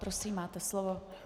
Prosím, máte slovo.